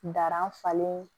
Darafalen